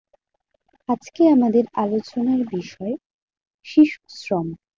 আজকে আমাদের আলোচনার বিষয় শিশু শ্রম।